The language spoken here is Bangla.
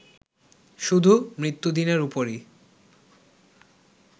শুধু মৃত্যুদিনের উপরেই